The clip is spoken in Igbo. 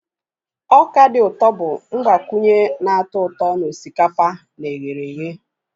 Ọka dị ụtọ bụ mgbakwunye na-atọ ụtọ na osikapa na eherehe.